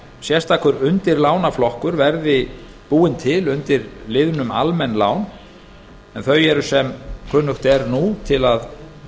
sérstakur undirlánaflokkur verði búinn til undir liðnum almenn lán en þau eru sem kunnugt er nú til að